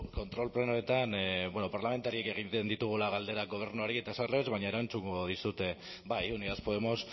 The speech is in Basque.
kontrol plenoetan parlamentariek egiten ditugula galderak gobernuari eta ez aldrebes baina erantzungo dizut bai unidas podemos